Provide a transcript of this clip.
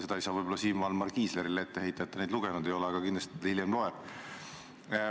Seda ei saa võib-olla Siim Valmar Kiislerile ette heita, et ta neid lugenud ei ole, aga kindlasti ta hiljem loeb.